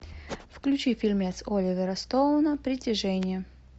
включи фильмец оливера стоуна притяжение